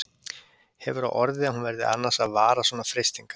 Hefur á orði að hún verði annars að varast svona freistingar.